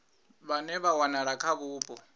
vhane vha wanala kha vhupo